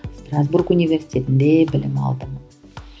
стразбург университетінде білім алдым